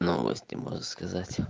новости можно сказать